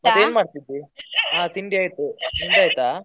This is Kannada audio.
ಮಾಡ್ತಾ ಇದ್ದಿ ಹಾ ತಿಂಡಿ ಆಯ್ತು, ನಿಂದ್ ಆಯ್ತಾ?